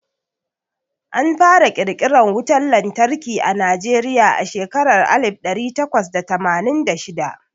Anfara ƙirƙiran wutan lantarki a Najeriya a shekarar alif ɗari takwas da tamanin da shida.